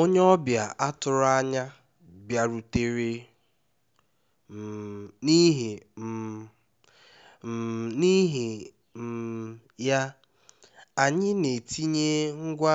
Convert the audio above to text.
onye ọbịa atụro anya bịarutere um n'ihi um um n'ihi um ya anyị na-etinye ngwa